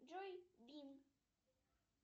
джой бинг